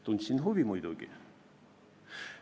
Tundsin muidugi huvi.